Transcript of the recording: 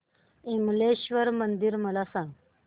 विमलेश्वर मंदिर मला सांग